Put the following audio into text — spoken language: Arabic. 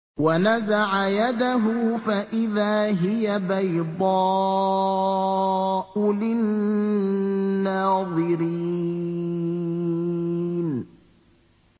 وَنَزَعَ يَدَهُ فَإِذَا هِيَ بَيْضَاءُ لِلنَّاظِرِينَ